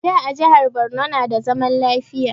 Da a jihar Borno na da zaman lafiya